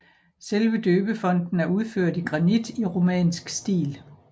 Selve døbefonten er udført i granit i romansk stil